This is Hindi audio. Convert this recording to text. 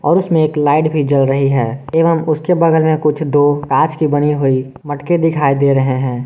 और उसमें एक लाइट भी जल रही है एवं उसके बगल में कुछ दो कांच की बनी हुई मटके दिखाई दे रहे हैं।